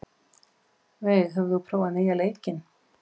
Veig, hefur þú prófað nýja leikinn?